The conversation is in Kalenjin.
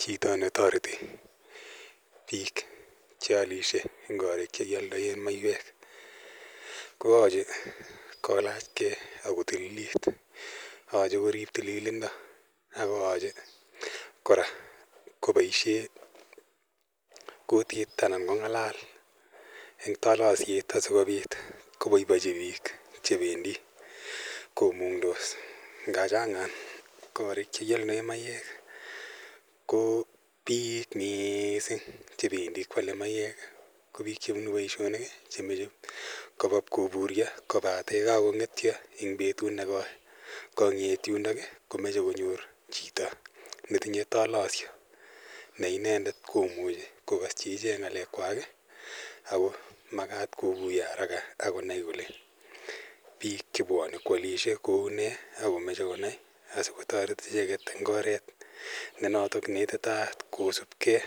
chito netoreti biik cheolisyee en koriik chekioldoen maiyweek, koyoche kolaach kee ak kotililit yoche koriib tililindo ago yoch kora koboisheen kutiit anan kongalal en tolosyeet asigobiit koboiboenchi biik chebendii komungdoos, ngachang koriik cheoleen maiyeek ko biik mising chebendi koyole maiyeek ko biik chebunu boishek iih chemoche koba ibkoburyoo kobateen kagongetyo en betut negooi, kongoit yunook komoche konyoor chito netinye tolosho ne inendet komuche kogosyi icheek ngaleek kwaak iih, ago magaat koguyo haraka ak konaai kole biik chebwone kwolisye kouu nee ak komoche konai asigotoret icheget en oreet nenotok neititaat kosuub kee